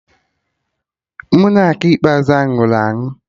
Monak ikpeazụ ahụ nwụrụ anwụ